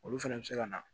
Olu fɛnɛ bɛ se ka na